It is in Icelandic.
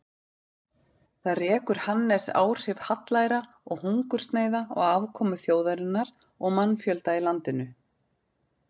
Þar rekur Hannes áhrif hallæra og hungursneyða á afkomu þjóðarinnar og mannfjölda í landinu.